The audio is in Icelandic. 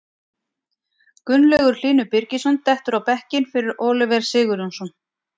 Gunnlaugur Hlynur Birgisson dettur á bekkinn fyrir Oliver Sigurjónsson.